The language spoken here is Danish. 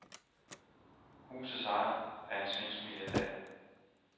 Huset ejes af en svensk milliardær.